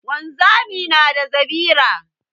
Wanzami na da zabira.